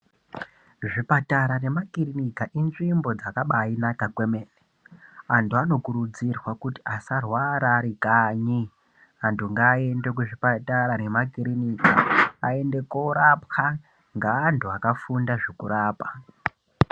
Zvipatara nema kirinika inzvimbo dzakabai naka kwemene antu ano kurudzirwa kuti asa rwara ari kanyi vantu ngava ende ku zvipatara nema kirinika ayende korapwa nge antu akafunda zveku rapa.